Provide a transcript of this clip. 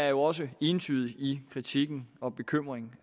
jo også entydige i kritikken af og bekymringen